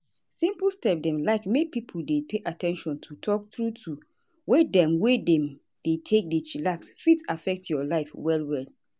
as i dey use app to dey check di way wey i take dey chillax don help me dey do am steady.